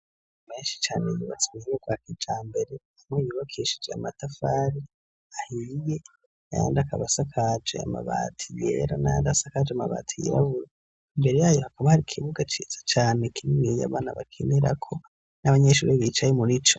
Menshi cane yubatse muburyo bwa kijambere, amwe yubakishije amatafari ahiye ayandi akaba asakaje amabati yera n'ayandi asakaje amabati yirabura, imbere yayo hakaba hari ikibuga ciza cane kininiya abana bakinirako n'abanyeshuri bicaye muri co.